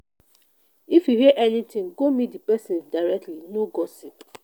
if you hear anytin go meet di pesin directly no gossip.